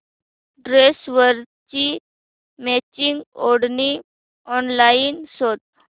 ड्रेसवरची मॅचिंग ओढणी ऑनलाइन शोध